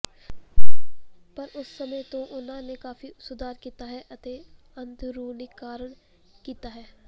ਪਰ ਉਸ ਸਮੇਂ ਤੋਂ ਉਨ੍ਹਾਂ ਨੇ ਕਾਫੀ ਸੁਧਾਰ ਕੀਤਾ ਹੈ ਅਤੇ ਆਧੁਨਿਕੀਕਰਨ ਕੀਤਾ ਹੈ